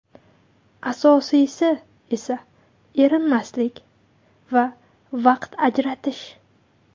Asosiysi esa erinmaslik va vaqt ajratish.